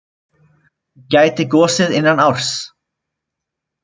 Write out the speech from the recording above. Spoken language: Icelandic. Gæti gosið innan árs